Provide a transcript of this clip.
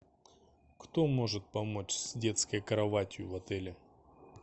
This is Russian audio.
кто может помочь с детской кроватью в отеле